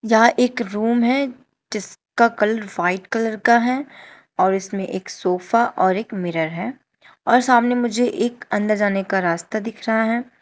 यहां एक रूम है जिसका कलर व्हाइट कलर का है और इसमें एक सोफा और एक मिरर है और सामने मुझे एक अंदर जाने का रास्ता दिख रहा है।